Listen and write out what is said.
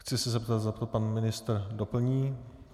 Chci se zeptat, zda to pan ministr doplní.